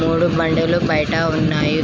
మూడు బండులు బయటా ఉన్నాయి.